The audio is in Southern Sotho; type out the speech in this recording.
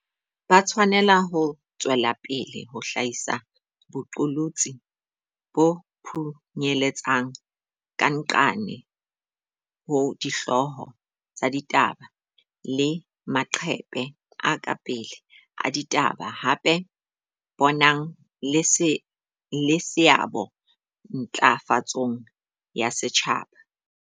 Ba tshwanela ho tswela pele ho hlahisa boqolotsi bo phunyeletsang ka nqane ho dihlooho tsa ditaba le maqephe a ka pele a ditaba, hape bo nang le seabo ntla fatsong ya setjhaba.